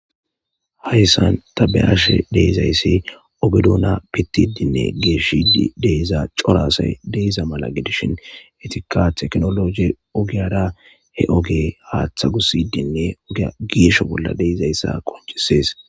Haysan ta be'ishe dizaysi oge Dona pitidine geshide de'iza c'ora asata de'za mala gidishin etika tekinoloje ogiyara he oge hate gusidine ogiya gesho bola de'izaysa qonc'ses.